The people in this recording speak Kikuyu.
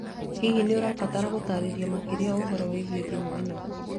Hihi nĩ ũrabatara gũtaarĩrio makĩria ũhoro wĩgiĩ thimũ ĩno